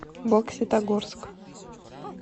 бокситогорск